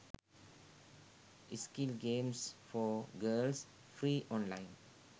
skill games for girls free online